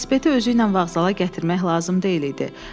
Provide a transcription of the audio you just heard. Velosiped özü ilə vağzala gətirmək lazım deyildi.